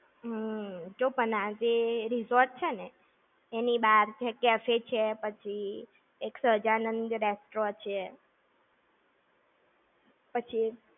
જો પણ આ જે, resort છે ને એની બહાર café છે પછી એક સહજાનંદ restaurant છે. પછી